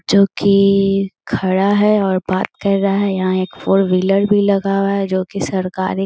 जो की खड़ा है और बात कर रहा है यहाँ एक फोर व्हीलर भी लगा हुआ है जो की सरकारी --